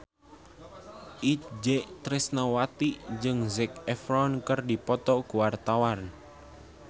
Itje Tresnawati jeung Zac Efron keur dipoto ku wartawan